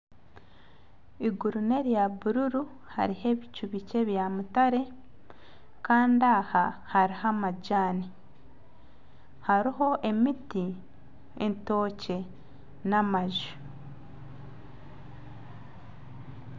Eiguru n'erya bururu hariho ebicu bikye bya mutare Kandi aha hariho amajani hariho emiti entookye nana amaju